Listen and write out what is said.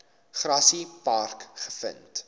grassy park gevind